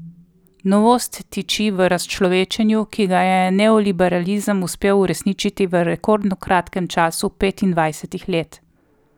Novost tiči v razčlovečenju, ki ga je neoliberalizem uspel uresničiti v rekordno kratkem času petindvajsetih let.